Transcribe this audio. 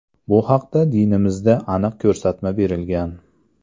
Bu haqda dinimizda aniq ko‘rsatma berilgan.